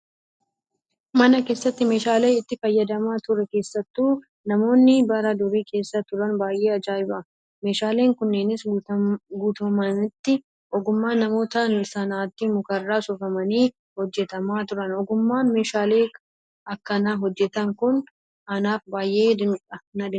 Mana keessatti meeshaaleen itti fayyadamaa ture keessattuu namoonni bara durii keessa turan baay'ee ajaa'iba. Meeshaaleen kunneenis guutummaatti ogummaa namoota sanaatiin mukarraa soofamanii hojjatamaaa turan. Ogummaan meeshaalee akkanaa hojjatan Kun anaaf baay'ee dinqiidha